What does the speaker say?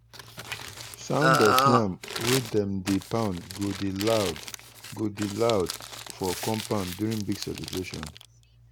sound of yam wey dem dey pound go dey loud go dey loud for compound during big celebration.